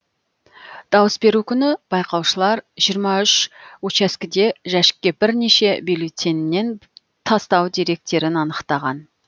дауыс беру күні байқаушылар жиырма үш учаскіде жәшікке бірнеше бюллетеннен тастау деректерін анықтаған